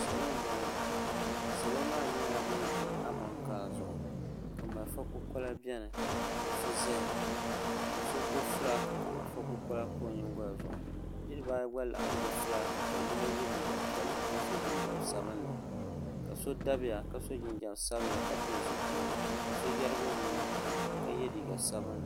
salo n boŋo salo maa nyɛla bin ʒi amokaa zuɣu ka malifa kukola biɛni so ʒɛya ka so gbubi fulaaki ka malifa kukola pa o nyingoli zuɣu niraba ayi gba laɣam gbubi fulaaki ka yino yɛ liiga piɛlli ka so jinjɛm sabinli ka so dabiya ka so jinjɛm sabinli ka pili zipiligu ka so yɛrigi o nuu ka so jinjɛm sabinli